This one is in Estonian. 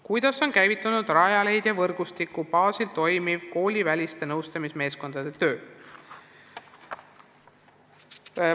"Kuidas on käivitunud Rajaleidja võrgustiku baasil toimiv kooliväliste nõustamismeeskondade töö?